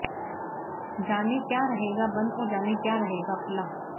जानें क्या रहेगा बंद और क्या रहेगा खुला